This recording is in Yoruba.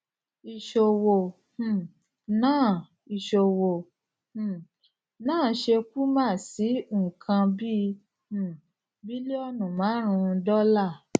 isowo um náà isowo um náà se puma si nǹkan bíi um bílíọnù márùnún dọlà